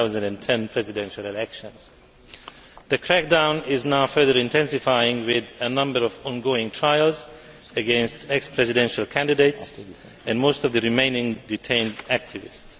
2010. The crackdown is now further intensifying, with a number of ongoing trials against ex presidential candidates and most of the remaining detained activists.